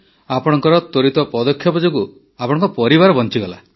ଆପଣଙ୍କର ତ୍ୱରିତ ପଦକ୍ଷେପ ଯୋଗୁଁ ଆପଣଙ୍କ ପରିବାର ବଞ୍ଚିଗଲା